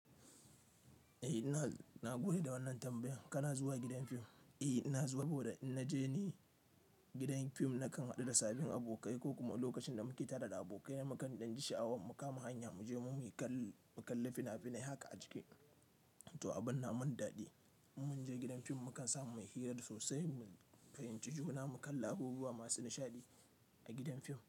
Eh ina na goyi da wannan tambayan kana zuwa gidan fim? Eh ina zuwa saboda in naje ni gidan fim nakan haɗu da sabbin abokai ko kuma lokacin da muke tare da abokai na mukan ɗan ji sha'awar mu kama hanya mu je muyi kal. Kalli fina-finai haka a ciki to abun na mun daɗi mun je gidan fim mu kan samu mai hira sosai mu fahimci juna mu kalli abubuwa masu nishadi a gidan fim.